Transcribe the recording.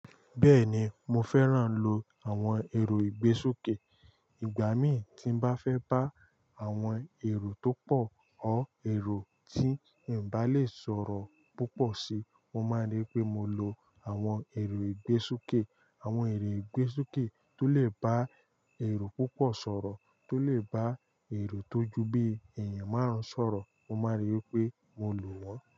Bẹ́ẹ̀ni, mo fẹ́ràn lo àwọn èrò ìgbésokè. Ìgbà mí tí n bá fẹ́ bá àwọn èrò tó pọ̀ or èrò tí n bá lè sọ̀rọ̀ púpọ̀ sí, mo máa rí pé mo lo àwọn èrò ìgbésokè. Àwọn èrò ìgbésokè tó lè bá èrò púpọ̀ sọ̀rọ̀, tó lè bá èrò tó ju bí èèyàn márùn-ún sọ̀rọ̀, mo máa rí pé mo lò wọ́n.